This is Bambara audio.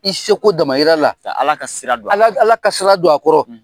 I seko da yi la . Ka ala ka sira don a kɔrɔ . Ala ka sira don a kɔrɔ.